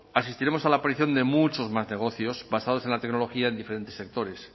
asistiremos a la aparición de muchos más negocios basados en la tecnología en diferentes sectores